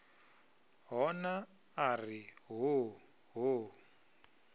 hona a ri hoo hoo